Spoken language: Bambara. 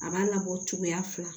A b'a labɔ cogoya fila